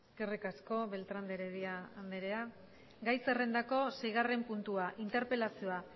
eskerrik asko beltrán de heredia andrea gai zerrendako seigarren puntua interpelazioa